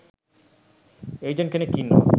agent කෙනෙක් ඉන්නවා